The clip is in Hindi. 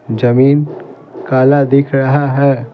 जमीन काला दिख रहा है।